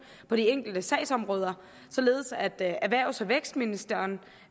på de enkelte sagsområder således at erhvervs og vækstministeren